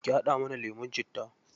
Ki haɗa mana lemun citta.